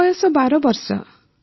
ମୋ ବୟସ ବାର ବର୍ଷ